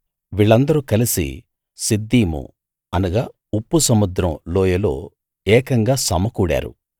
వీళ్ళందరూ కలిసి సిద్దీము ఉప్పు సముద్రం లోయలో ఏకంగా సమకూడారు